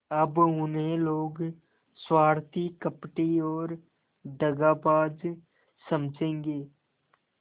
अब उन्हें लोग स्वार्थी कपटी और दगाबाज समझेंगे